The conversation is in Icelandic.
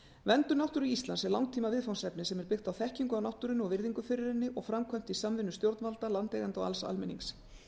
verndun náttúru landsins er langtíma viðfangsefni sem er byggt á þekkingu á náttúrunni og virðingu fyrir henni og framkvæmt í samvinnu stjórnvalda landeigenda og alls almennings